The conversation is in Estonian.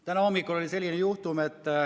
Täna hommikul oli selline juhtum, et ...